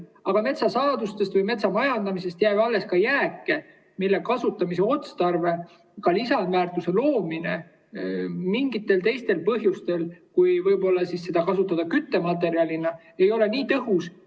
Aga metsasaadustest või metsamajandamisest jääb alles ka jääke, mille kasutamise otstarve ja ka lisandväärtus mingitel teistel juhtudel peale selle, kui seda kasutada küttematerjalina, ei ole nii tõhus.